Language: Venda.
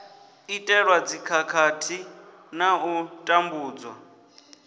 itelwa dzikhakhathi na u tambudzwa